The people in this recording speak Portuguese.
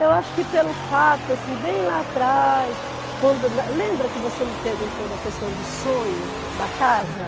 Eu acho que pelo fato, assim, bem lá atrás, quando eu na, lembra que você me perguntou da questão do sonho da casa?